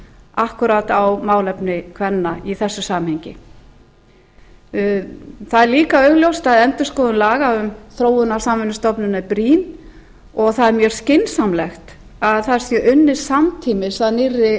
akkúrat á málefni kvenna í þessu samhengi það er líka augljóst að endurskoðun laga um þróunarsamvinnustofnun er brýn og það er mjög skynsamlegt að það sé unnið samtímis að nýrri